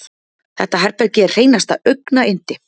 Þetta herbergi er hreinasta augnayndi.